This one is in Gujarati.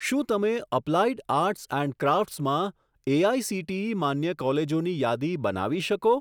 શું તમે અપ્લાઇડ આર્ટ્સ એન્ડ ક્રાફ્ટસમાં એઆઇસીટીઈ માન્ય કોલેજોની યાદી બનાવી શકો?